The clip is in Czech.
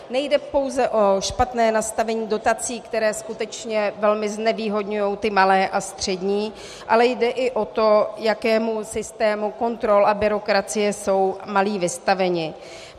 Nejde pouze o špatné nastavení dotací, které skutečně velmi znevýhodňují ty malé a střední, ale jde i o to, jakému systému kontrol a byrokracie jsou malí vystaveni.